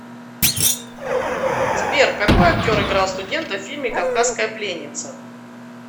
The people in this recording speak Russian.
сбер какои актер играл студента в фильме кавказская пленница